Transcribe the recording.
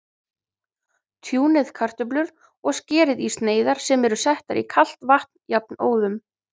Tjúnið kartöflur og skerið í sneiðar sem eru settar í kalt vatn jafnóðum.